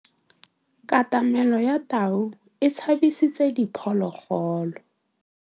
Katamêlô ya tau e tshabisitse diphôlôgôlô.